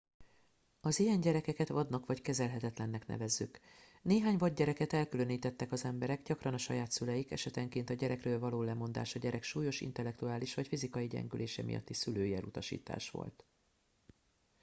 az ilyen gyerekeket vadnak vagy kezelhetetlennek nevezzük. néhány vad gyereket elkülönítettek az emberek gyakran a saját szüleik esetenként a gyerekről való lemondás a gyerek súlyos intellektuális vagy fizikai gyengülése miatti szülői elutasítás volt